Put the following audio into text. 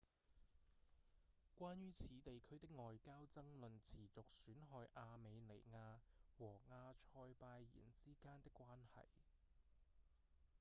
關於此地區的外交爭論持續損害亞美尼亞和亞塞拜然之間的關係